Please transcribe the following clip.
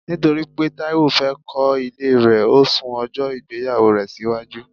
Nítorí pé Taiwo fẹ́ kọ ilé rẹ, o sún ojo ìgbéyàwó rẹ síwájú